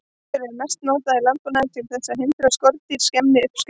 Skordýraeitur er mest notað í landbúnaði til þess að hindra að skordýr skemmi uppskeruna.